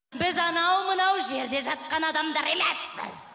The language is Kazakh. біз анау мынау жерде жатқан адамдар емеспіз құдағи